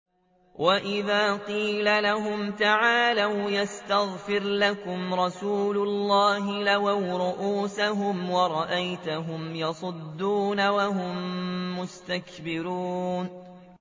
وَإِذَا قِيلَ لَهُمْ تَعَالَوْا يَسْتَغْفِرْ لَكُمْ رَسُولُ اللَّهِ لَوَّوْا رُءُوسَهُمْ وَرَأَيْتَهُمْ يَصُدُّونَ وَهُم مُّسْتَكْبِرُونَ